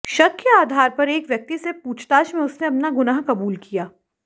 शक के आधार पर एक व्यक्ति से पूछताछ में उसने अपना गुनाह कबूल किया